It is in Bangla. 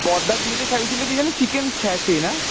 বড়দার বিয়েতে খাওয়িয়েছিলো কী যেন chicken satay না?